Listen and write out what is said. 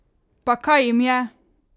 Pa kaj jim je?